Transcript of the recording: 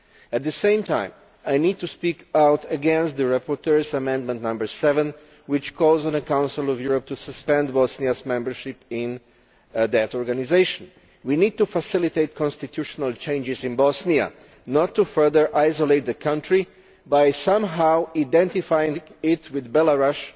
At the same time, I need to speak out against the rapporteur's Amendment No 7, which calls on the Council of Europe to suspend Bosnia's membership of that organisation. We need to facilitate constitutional changes in Bosnia, not further isolate the country by somehow identifying it with Belarus,